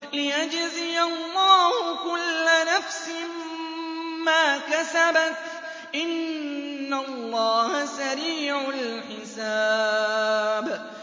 لِيَجْزِيَ اللَّهُ كُلَّ نَفْسٍ مَّا كَسَبَتْ ۚ إِنَّ اللَّهَ سَرِيعُ الْحِسَابِ